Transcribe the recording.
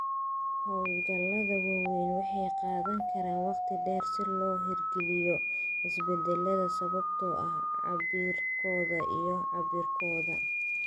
Hawlgallada waaweyni waxay qaadan karaan waqti dheer si loo hirgeliyo isbeddellada sababtoo ah cabbirkooda iyo cabbirkooda.